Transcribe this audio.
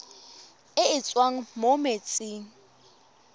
e e tswang mo metsing